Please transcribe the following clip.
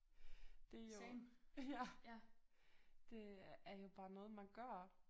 Det jo ja det er jo bare noget man gør